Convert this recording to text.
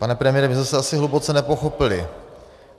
Pane premiére, my jsme se asi hluboce nepochopili.